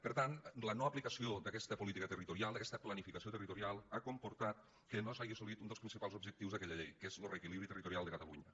per tant la no aplicació d’aquesta política territorial d’aquesta planificació territorial ha comportat que no s’hagi assolit un dels principals objectius d’aquella llei que és lo reequilibri territorial de catalunya